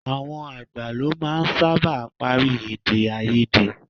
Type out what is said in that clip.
Àwọn àgbà lọ máa ń sábà parí èdèáiyedé.